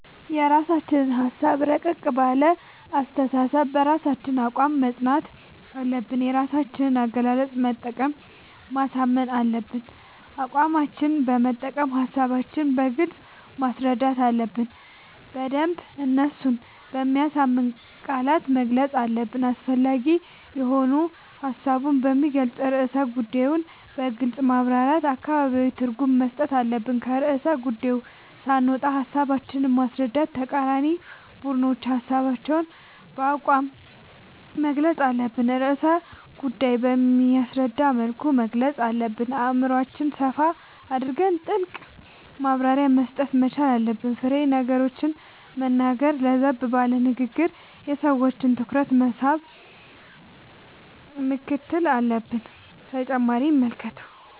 የራስችን ሀሳብ እረቀቅ ባለ አስተሳሰብ በራሳችን አቋም መፅናት አለብን የራሳችን አገላለፅ በመጠቀም ማሳመን አለብን አቋማችን መጠቀም ሀሳባችን በግልጽ ማስረዳት አለብን በደንብ እነሱን በሚያሳምን ቃላት መግለፅ አለብን አስፈላጊ የሆኑ ሀሳቡን በሚገልፅን ርዕሰ ጉዳዮን በግልፅ ማብራራት አገባባዊ ትርጉም መስጠት አለብን። ከርዕሰ ጉዳዪ ሳንወጣ ሀሳባችን ማስረዳት ለተቃራኒ ቡድኖች ሀሳባችን በአቋም መግልፅ አለብን ርዕሰ ጉዳይ በሚያስረዳ መልኩ መግለፅ አለብን አእምሮአችን ሰፋ አድርገን ጥልቅ ማብራሪያ መስጠት መቻል አለብን። ፋሬ ነገሮችን መናገር ለዘብ ባለ ንግግር የሰዎችን ትኩረት መሳብ ምክትል አለብን።…ተጨማሪ ይመልከቱ